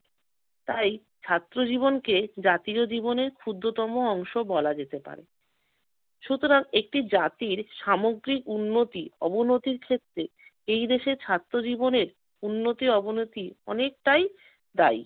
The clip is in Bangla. তাই ছাত্র জীবনকে জাতীয় জীবনে ক্ষুদ্রতম অংশ বলা যেতে পারে। সুতরাং একটি জাতির সামগ্রিক উন্নতি অবনতির ক্ষেত্রে এই দেশের ছাত্র জীবনের উন্নতি অবনতি অনেকটাই দায়ী।